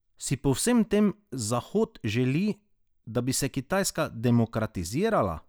Si po vsem tem Zahod želi, da bi se Kitajska demokratizirala?